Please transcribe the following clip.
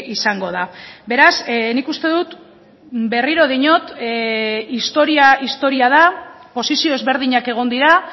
izango da beraz nik uste dut berriro diot historia historia da posizio ezberdinak egon dira